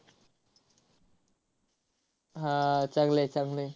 हा आह चांगलं आहे, चांगलं आहे.